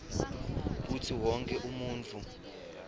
kutsi wonkhe umuntfu